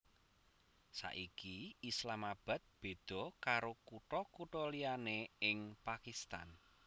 Saiki Islamabad béda karo kutha kutha liyané ing Pakistan